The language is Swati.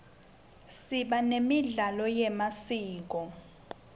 siba nemidlalo yemasiko